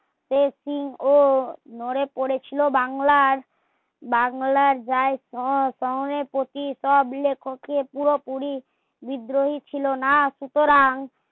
সে সিংহ মরে পরে ছিলো বাংলার বাংলার যায় সহ স্বয়ং এর প্রতি সব লেখকের পুরোপুরি বিদ্রোহ ছিল না সুতরাং